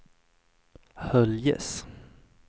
Höljes